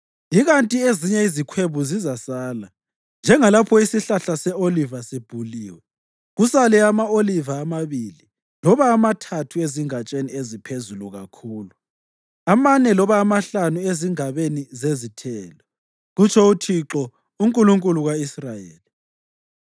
Ikanti ezinye izikhwebu zizasala, njengalapho isihlahla se-oliva sibhuliwe, kusale ama-oliva amabili loba amathathu ezingatsheni eziphezulu kakhulu, amane loba amahlanu ezingabeni zezithelo,” kutsho uThixo, uNkulunkulu ka-Israyeli.